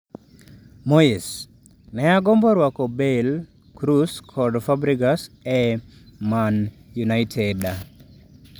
Moyes: Ne agombo rwako Bale, Kroos kod Fabregas e Man United